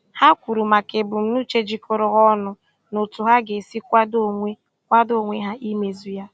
Ha kwuru maka ebumnuche jikọrọ ha ọnụ na otu ha ga-esi kwadoo onwe kwadoo onwe ha imezu ya.